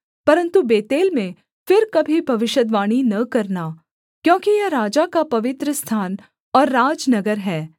परन्तु बेतेल में फिर कभी भविष्यद्वाणी न करना क्योंकि यह राजा का पवित्रस्थान और राजनगर है